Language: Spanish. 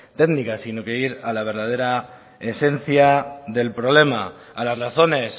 técnicas sino que ir a la verdadera esencia del problema a las razones